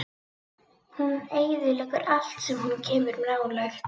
Hún eyðileggur allt sem hún kemur nálægt.